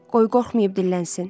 Qoy qorxmayıb dillənsin."